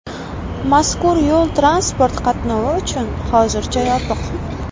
Mazkur yo‘l transport qatnovi uchun hozircha yopiq.